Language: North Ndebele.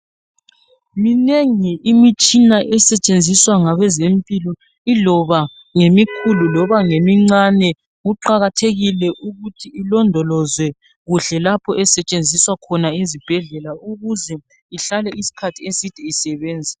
Minengi imitshina esetshenziswa ngabezempilo iloba ngemikhulu loba ngemincane, kuqakathekile ukuthi ilondolozwe kuhle lapho esetshenziswa khona ezibhedlela ukuze ihlale isikhathi eside isebenza.